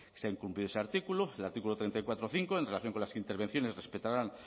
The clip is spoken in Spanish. se ha incumplido ese artículo el artículo treinta y cuatro punto cinco en relación con las intervenciones respetarán